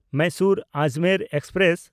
ᱢᱟᱭᱥᱳᱨ–ᱟᱡᱽᱢᱮᱨ express